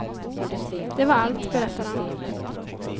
Det var allt, berättar han.